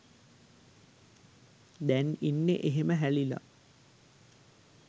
දැන් ඉන්නෙ එහෙම හැලිලා.